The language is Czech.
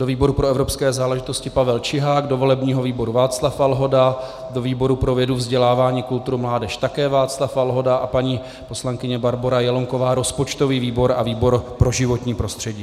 Do výboru pro evropské záležitost Pavel Čihák, do volebního výboru Václav Valhoda, do výboru pro vědu, vzdělávání, kulturu, mládež také Václav Valhoda a paní poslankyně Barbora Jelonková rozpočtový výbor a výbor pro životní prostředí.